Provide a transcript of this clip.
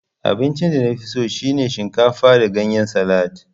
Abincin danafiso shine shinkafa da ganyen salad